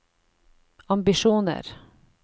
ambisjoner